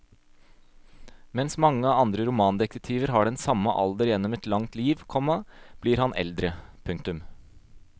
Mens mange andre romandetektiver har den samme alder gjennom et langt liv, komma blir han eldre. punktum